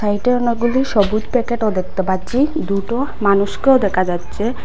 সাইটে অনেকগুলি সবুজ প্যাকেটও দেখতে পাচ্চি দুটো মানুষকেও দেকা যাচ্ছে